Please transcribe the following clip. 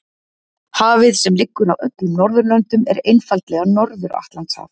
Hafið sem liggur að öllum Norðurlöndum er einfaldlega Norður- Atlantshaf.